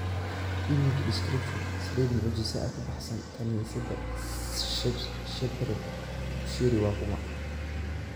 Image description, "saliid mucjiso" ka baxsan kaniisadda Shepherd Bushiri waa kuma?